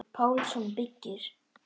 Pálsson byggir.